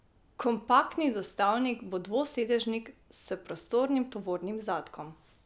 Kompaktni dostavnik bo dvosedežnik s prostornim tovornim zadkom.